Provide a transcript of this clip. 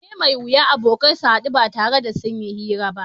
Abu ne mai wuya abokai su haɗu ba tare da sun yi hira ba